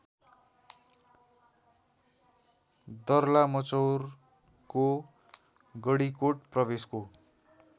दर्लामचौरको गडीकोट प्रवेशको